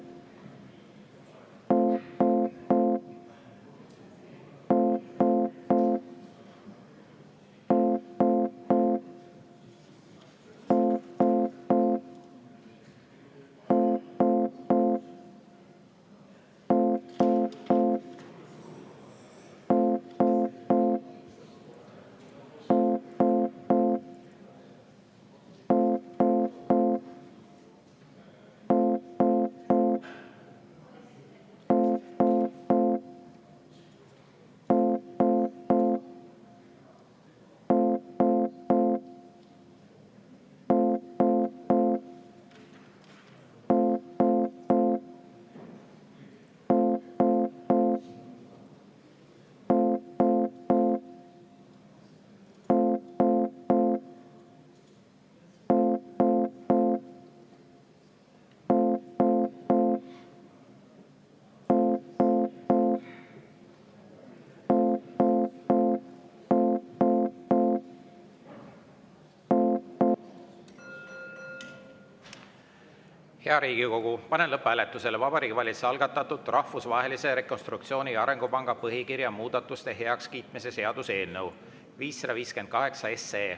Hea Riigikogu, panen lõpphääletusele Vabariigi Valitsuse algatatud Rahvusvahelise Rekonstruktsiooni- ja Arengupanga põhikirja muudatuste heakskiitmise seaduse eelnõu 558.